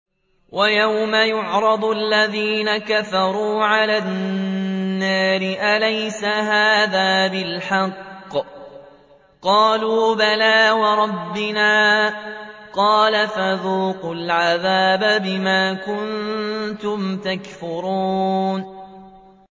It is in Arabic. وَيَوْمَ يُعْرَضُ الَّذِينَ كَفَرُوا عَلَى النَّارِ أَلَيْسَ هَٰذَا بِالْحَقِّ ۖ قَالُوا بَلَىٰ وَرَبِّنَا ۚ قَالَ فَذُوقُوا الْعَذَابَ بِمَا كُنتُمْ تَكْفُرُونَ